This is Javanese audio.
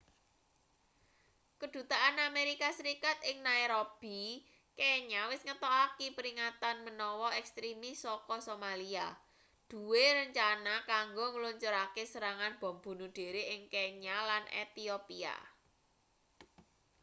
kedutaan amerika serikat ing nairobi kenya wis ngetokaki peringatan menawa ekstrimis saka somalia duwe rencana kanggo ngluncurake serangan bom bunuh diri ing kenya lan ethiopia